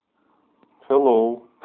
хеллоу